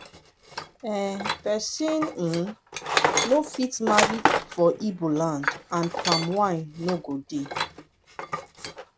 um pesin um no fit marry for igbo land and palm wine no go dey.